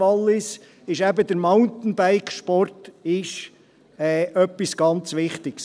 das zeigt Graubünden, das zeigt das Wallis.